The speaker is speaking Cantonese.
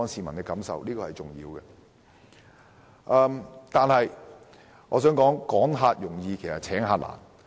我也想指出，"趕客容易請客難"。